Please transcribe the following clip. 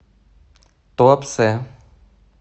туапсе